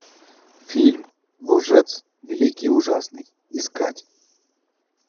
фильм лжец великий и ужасный искать